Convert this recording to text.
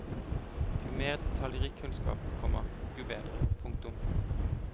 Jo mer detaljrik kunnskap, komma jo bedre. punktum